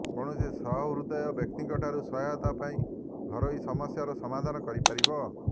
କୌଣସି ସହୃଦୟ ବ୍ୟକ୍ତିଙ୍କଠାରୁ ସହାୟତା ପାଇ ଘରୋଇ ସମସ୍ୟାର ସମାଧାନ କରିପାରିବେ